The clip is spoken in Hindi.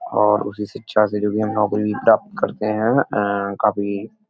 और उसी शिक्षा से जो भी हम नौकरी प्राप्त करते है एंड काफी --